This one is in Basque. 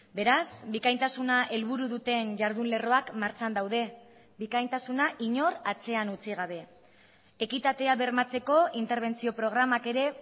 beraz bikaintasuna helburu duten jardun lerroak martxan daude bikaintasuna inor atzean utzi gabe ekitatea bermatzeko interbentzio programak ere